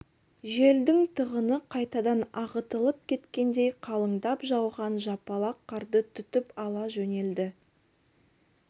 желдің тығыны қайтадан ағытылып кеткендей қалыңдап жауған жапалақ қарды түтіп ала жөнелді